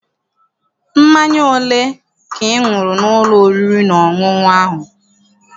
Mmanya ole ka ị ṅụrụ n'ụlọ oriri na ọṅụṅụ ahụ?